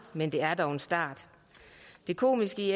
men det er dog en start det komiske